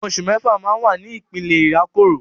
Ọmọ oṣù mẹ́fà máa ń wà ní ìpele ìrákòrò